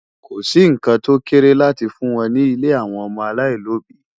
Ko sì nǹkan tó kéré láti fún wọn ní ilé àwọn ọmọ aláìlóbìí